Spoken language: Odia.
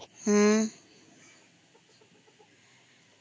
ହମ୍